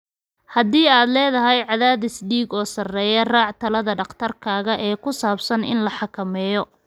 Haddii aad leedahay cadaadis dhiig oo sarreeya, raac talada dhakhtarkaaga ee ku saabsan in la xakameeyo.